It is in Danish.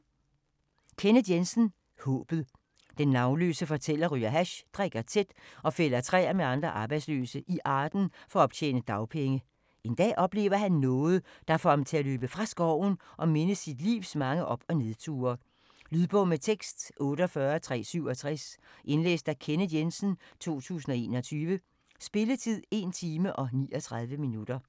Jensen, Kenneth: Håbet Den navnløse fortæller ryger hash, drikker tæt og fælder træer med andre arbejdsløse i Arden for at optjene dagpenge. En dag oplever han noget, der får ham til at løbe fra skoven og mindes sit livs mange op- og nedture. Lydbog med tekst 48367 Indlæst af Kenneth Jensen, 2021. Spilletid: 1 time, 39 minutter.